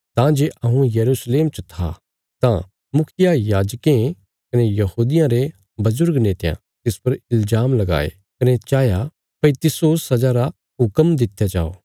तां जे हऊँ यरूशलेम च था तां मुखियायाजकें कने यहूदियां रे बजुर्ग नेतयां तिस पर इल्जाम लगाये कने चाहया भई तिस्सो सजा रा हुक्म दित्या जाओ